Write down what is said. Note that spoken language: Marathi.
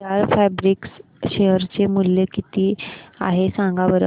विशाल फॅब्रिक्स शेअर चे मूल्य किती आहे सांगा बरं